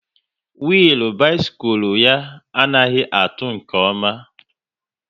Willu bisikul ya anaghị atụ nke ọma